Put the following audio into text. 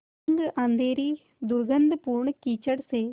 तंग अँधेरी दुर्गन्धपूर्ण कीचड़ से